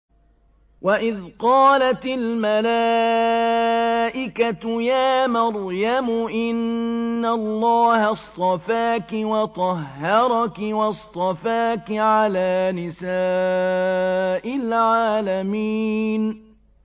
وَإِذْ قَالَتِ الْمَلَائِكَةُ يَا مَرْيَمُ إِنَّ اللَّهَ اصْطَفَاكِ وَطَهَّرَكِ وَاصْطَفَاكِ عَلَىٰ نِسَاءِ الْعَالَمِينَ